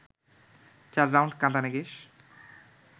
চার রাউন্ড কাঁদানে গ্যাস